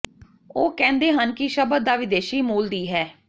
ਉਹ ਕਹਿੰਦੇ ਹਨ ਕਿ ਸ਼ਬਦ ਦਾ ਵਿਦੇਸ਼ੀ ਮੂਲ ਦੀ ਹੈ